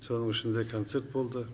соның ішінде концерт болды